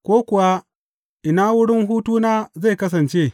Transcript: Ko kuwa ina wurin hutuna zai kasance?